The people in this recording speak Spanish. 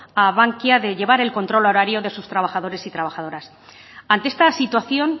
a bankia de llevar el control horario de sus trabajadores y trabajadoras ante esta situación